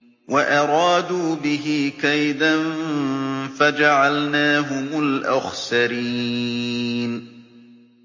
وَأَرَادُوا بِهِ كَيْدًا فَجَعَلْنَاهُمُ الْأَخْسَرِينَ